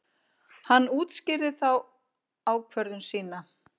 Hann útskýrði þá ákvörðun sína.